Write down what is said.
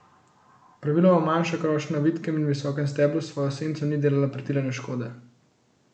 Praviloma manjša krošnja na vitkem in visokem steblu s svojo senco ni delala pretirane škode.